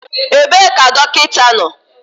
Ebee ka dọkịta nọ?